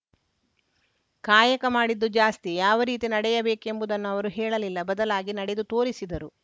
ಕಾಯಕ ಮಾಡಿದ್ದು ಜಾಸ್ತಿ ಯಾವ ರೀತಿ ನಡೆಯಬೇಕೆಂಬುದನ್ನು ಅವರು ಹೇಳಲಿಲ್ಲ ಬದಲಾಗಿ ನಡೆದು ತೋರಿಸಿದರು